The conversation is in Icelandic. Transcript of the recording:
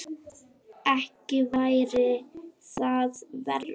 Ekki væri það verra!